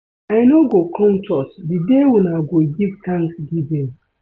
I no go come church the day una go give Thanksgiving